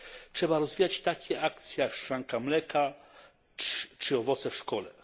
Trzeba rozwijać takie akcje jak szklanka mleka czy owoce w szkole.